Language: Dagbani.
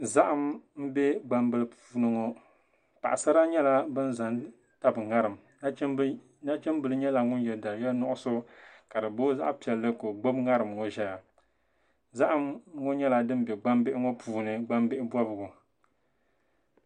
Zahim m be gbambil puuniŋɔ paɣisara nyala ban zan tab ŋariŋ. nachimbili nyala ŋun ye. daliya nuɣuso, kadi boo zaɣpɛli ka ɔgbib ŋariŋŋɔzɛya ,zahim ŋɔ nyala dinm be. gbambihiŋɔ puuni. gba mini bɔbigu.